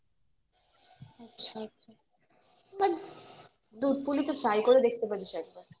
দুধ পুলি তো try করে দেখতে বলিস একবার